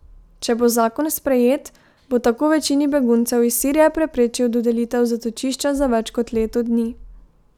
Če bo zakon sprejet, bo tako večini beguncev iz Sirije preprečil dodelitev zatočišča za več kot leto dni.